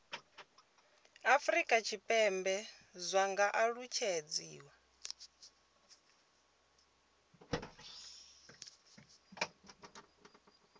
afurika tshipembe zwi nga alutshedziwa